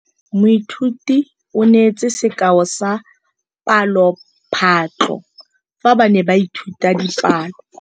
Moithuti o neetse sekaô sa palophatlo fa ba ne ba ithuta dipalo.